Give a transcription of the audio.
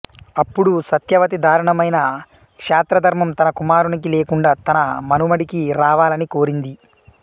అప్పుడు సత్యవతి దారుణమైన క్షాత్రధర్మం తన కుమారునికి లేకుండా తన మనుమడికి రావాలని కోరింది